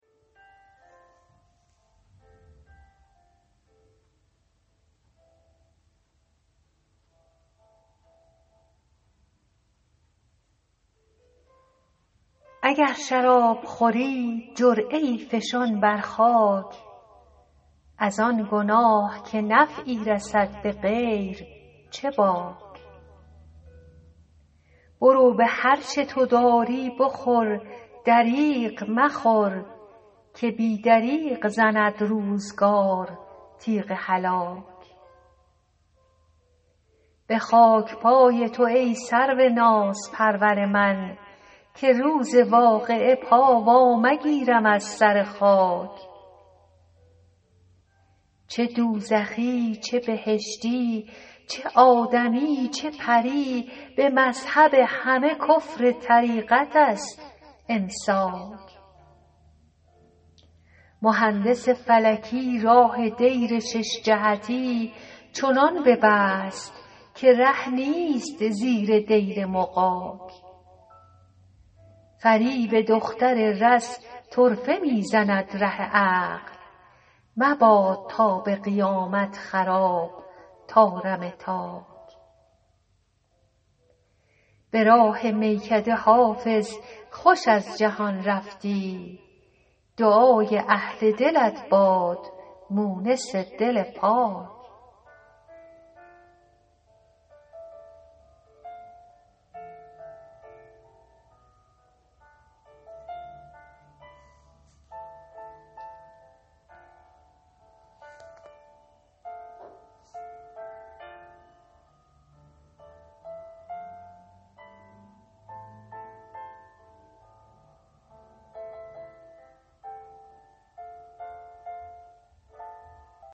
اگر شراب خوری جرعه ای فشان بر خاک از آن گناه که نفعی رسد به غیر چه باک برو به هر چه تو داری بخور دریغ مخور که بی دریغ زند روزگار تیغ هلاک به خاک پای تو ای سرو نازپرور من که روز واقعه پا وا مگیرم از سر خاک چه دوزخی چه بهشتی چه آدمی چه پری به مذهب همه کفر طریقت است امساک مهندس فلکی راه دیر شش جهتی چنان ببست که ره نیست زیر دیر مغاک فریب دختر رز طرفه می زند ره عقل مباد تا به قیامت خراب طارم تاک به راه میکده حافظ خوش از جهان رفتی دعای اهل دلت باد مونس دل پاک